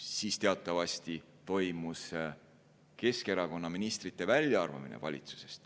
Siis teatavasti toimus Keskerakonna ministrite väljaarvamine valitsusest.